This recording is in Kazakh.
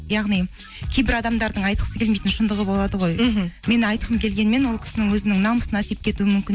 яғни кейбір адамдардың айтқысы келмейтін шындығы болады ғой мхм мен айтқым келгенімен ол кісінің өзінің намысына тиіп кетуі мүмкін